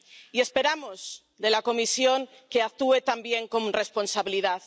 Y esperamos de la Comisión que actúe también con responsabilidad.